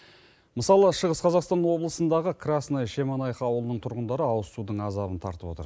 мысалы шығыс қазақстан облысындағы красная шемонаиха ауылының тұрғындары ауызсудың азабын тартып отыр